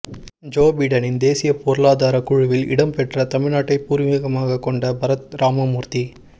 Joe பிடனின் தேசிய பொருளாதார குழுவில் இடம்பெற்ற தமிழ்நாட்டை பூர்வீகமாக கொண்ட பரத் ராமமூர்த்தி